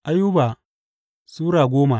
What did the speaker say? Ayuba Sura goma